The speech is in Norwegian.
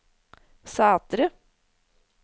Sætre